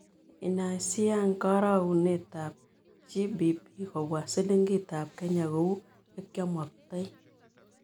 Inaisiiyaan karogunetap gbp kobwa silingitap kenya kou yekyaamoktoi